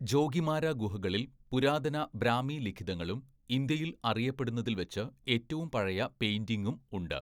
ജോഗിമാര ഗുഹകളിൽ പുരാതന ബ്രാഹ്മി ലിഖിതങ്ങളും ഇന്ത്യയിൽ അറിയപ്പെടുന്നതില്‍വച്ച് ഏറ്റവും പഴയ പെയിന്റിംഗും ഉണ്ട്.